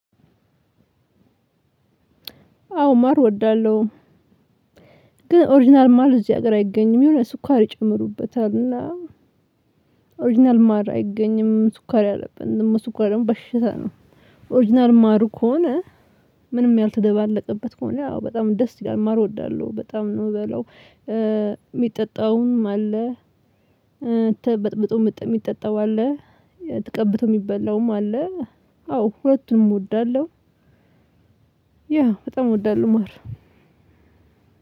አዎ ማር እወዳለሁ። ግን ኦሪጅናል ማር እዚህ ሀገር አይገኝም የሆነ ስኳር ይጨምሩበታል። እና ኦሪጅናል ማር አይገኝም ስኳር ያለበት ነው። ደግሞ ስኳር ደግሞ በሽታ ነው። ኦሪጅናል ማሩ ከሆነ። ምንም ያልተደባለቀበት ከሆነ ያው በጣም ደስ ይላል ማር እወዳለሁ በጣም ነው የምበላው። የሚጠጣም አለ። ተበጥብጦ የሚጠጣው አለ። ተቀብቶ የሚበላውም አለ። አዎ ሁለቱም እወዳለሁ። ያ በጣም እወዳለሁ ማር።